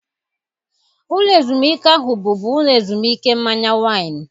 Ụlọ ezumike ahụ bụbu ụlọ ezumike mmanya waịn.